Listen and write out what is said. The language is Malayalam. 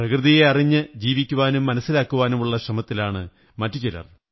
പ്രകൃതിയെ അറിഞ്ഞു ജീവിക്കാനും മനസ്സിലാക്കുവാനുംമറ്റുമുള്ള ശ്രമത്തിലാണു ചിലർ